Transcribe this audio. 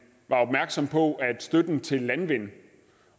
var opmærksom på at støtten til landvind